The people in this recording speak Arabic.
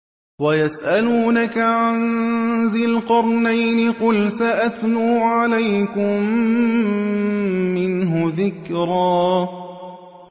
وَيَسْأَلُونَكَ عَن ذِي الْقَرْنَيْنِ ۖ قُلْ سَأَتْلُو عَلَيْكُم مِّنْهُ ذِكْرًا